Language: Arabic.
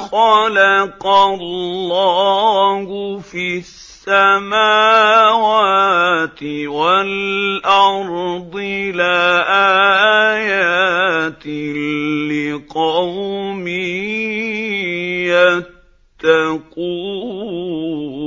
خَلَقَ اللَّهُ فِي السَّمَاوَاتِ وَالْأَرْضِ لَآيَاتٍ لِّقَوْمٍ يَتَّقُونَ